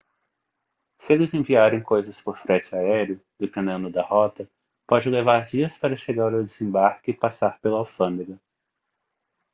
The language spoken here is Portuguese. se eles enviaram coisas por frete aéreo dependendo da rota pode levar dias para chegar ao desembarque e passar pela alfândega